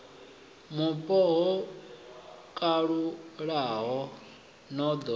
mupo ho kalulaho no ḓo